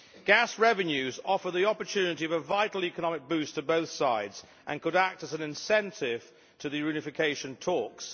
Gas revenues offer the opportunity of a vital economic boost to both sides and could act as an incentive to the reunification talks.